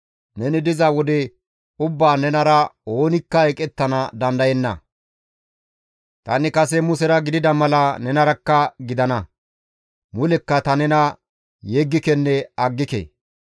Neni diza wode ubbaan nenara oonikka eqettana dandayenna; tani kase Musera gidida mala nenarakka gidana; mulekka ta nena yeggikenne aggike.